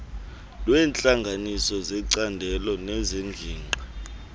lweentlanganiso zecandelo nezengingqi